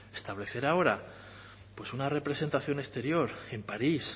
establecer ahora pues una representación exterior en parís